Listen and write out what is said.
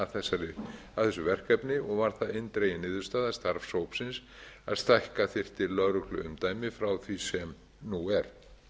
að vinna að þessu verkefni og var það eindregin niðurstaða starfshópsins að stækka þyrfti lögregluumdæmi frá því sem nú er